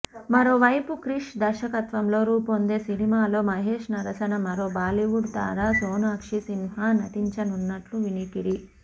మరో వైపు క్రిష్ దర్శకత్వంలో రూపొందే సినిమాలో మహేష్ సరసన మరో బాలీవుడ్ తార సోనాక్షి సిన్హా నటించనున్నట్టు వినికిడి